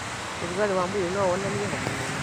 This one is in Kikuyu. ũrugarĩ wa mwĩrĩ nowonanie homa nene